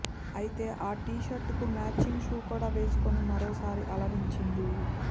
అయితే ఆ టీషర్ట్ కు మ్యాచింగ్ షూ కూడా వేసుకుని మరోసారి అలరించింది